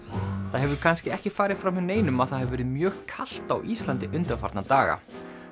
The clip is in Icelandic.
það hefur kannski ekki farið fram hjá neinum að það hefur verið mjög kalt á Íslandi undanfarna daga